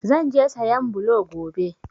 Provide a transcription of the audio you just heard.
Zan je sayan blo gobe.